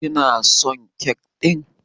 Kina son kek ɗin?